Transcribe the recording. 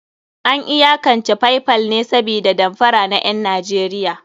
An iyakance Paypal ne sabida damfara na ƴan Najeriya.